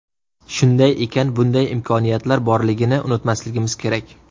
Shunday ekan, bunday imkoniyatlar borligini unutmasligimiz kerak”.